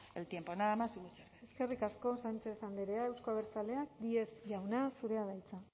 el tiempo nada más y muchas gracias eskerrik asko sánchez andrea euzko abertzaleak díez jauna zurea da hitza